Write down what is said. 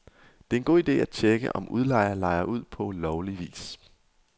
Det er en god ide at tjekke, om udlejer lejer ud på lovlig vis.